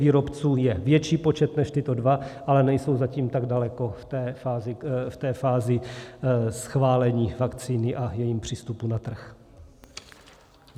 Výrobců je větší počet než tyto dva, ale nejsou zatím tak daleko ve fázi schválení vakcíny a v jejím přístupu na trh.